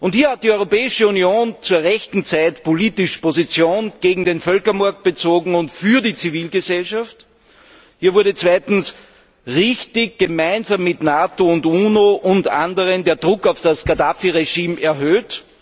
Hier hat die Europäische Union zur rechten Zeit politisch Position gegen den Völkermord und für die Zivilgesellschaft bezogen. Hier wurde richtigerweise gemeinsam mit NATO, UNO und anderen der Druck auf das Gaddafi Regime erhöht.